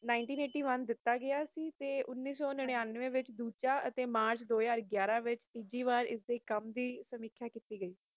nineteen eighty one ਦਿੱਤਾ ਗਯਾ ਸੀ ਤੇ ਉਨੀਸ ਸੋ ਨਿਨੰਵੇ ਵਿਚ ਦੂਜਾ ਯਤੀਮਾਂ ਦੋ ਹਾਜ਼ਰ ਯੀਅਰ ਵਿਚ ਤੀਜੀ ਬਾਰ ਇਸ ਦੀ ਕਾਮ ਦੀ ਸਿਮਖਿਯਾ ਕਿੱਤੀ ਗਏ